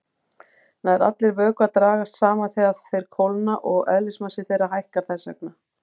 Nær allir vökvar dragast saman þegar þeir kólna og eðlismassi þeirra hækkar þess vegna.